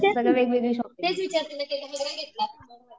सगळं वेगवेगळी शॉपिंग.